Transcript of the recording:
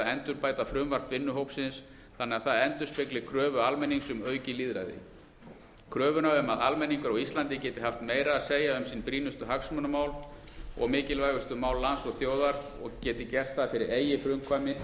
endurbæta frumvarp vinnuhópsins þannig að það endurspegli kröfu almennings um aukið lýðræði kröfuna um að almenningur á íslandi geti haft meira að segja um sín brýnustu hagsmunamál og mikilvægustu mál lands og þjóðar og geti gert það fyrir eigið